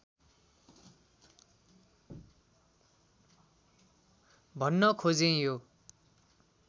भन्न खोजेँ यो